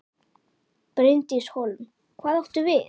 Bryndís Hólm: Hvað áttu við?